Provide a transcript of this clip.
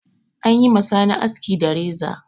An yi ma Sani aski da reza.